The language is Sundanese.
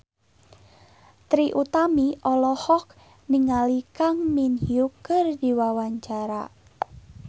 Trie Utami olohok ningali Kang Min Hyuk keur diwawancara